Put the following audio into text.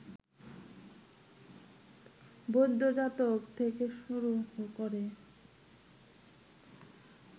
বৌদ্ধ জাতক থেকে শুরু করে